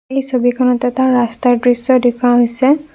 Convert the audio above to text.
এই ছবিখনত এটা ৰাস্তাৰ দৃশ্য দেখুওৱা হৈছে।